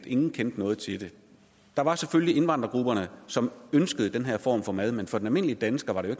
ingen kendte noget til det der var selvfølgelig indvandrergrupperne som ønskede den her form for mad men for den almindelige dansker var det